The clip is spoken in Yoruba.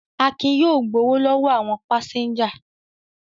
Akin yóò gbowó lọ́wọ́ àwọn pásẹ́ńjà.